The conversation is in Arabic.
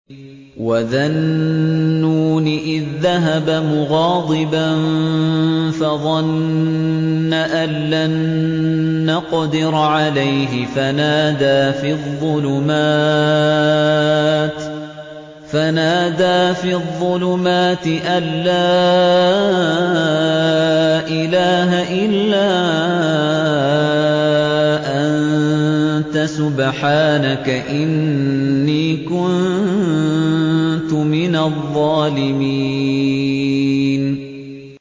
وَذَا النُّونِ إِذ ذَّهَبَ مُغَاضِبًا فَظَنَّ أَن لَّن نَّقْدِرَ عَلَيْهِ فَنَادَىٰ فِي الظُّلُمَاتِ أَن لَّا إِلَٰهَ إِلَّا أَنتَ سُبْحَانَكَ إِنِّي كُنتُ مِنَ الظَّالِمِينَ